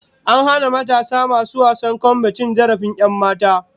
An hana matasan masu wasan kwambe cin zarafin 'yanmata